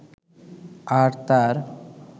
আর তার